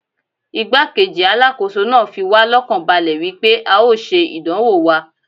Igbá-kejì Alákóso náà fi wá lọ́kàn balẹ̀ wípé a ó ṣe ìdánwò wa.